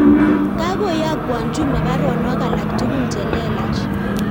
Kagoyokwan Juma baruonok alak tugul chelelach